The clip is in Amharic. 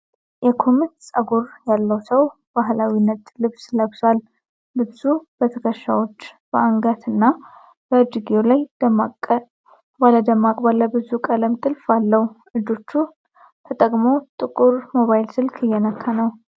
የኩርምት ጸጉር ያለው ሰው ባህላዊ ነጭ ልብስ ለብሷል። ልብሱ በትከሻዎች፣ በአንገት እና በእጅጌው ላይ ደማቅ ባለብዙ ቀለም ጥልፍ አለው። እጆቹን ተጠቅሞ ጥቁር ሞባይል ስልክ እየነካ ነው።